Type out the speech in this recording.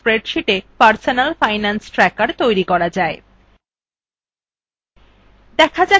এখন শেখা যাক কিভাবে spreadsheeta personal finance tracker তৈরী করা যায়